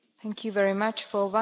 Pani Przewodnicząca!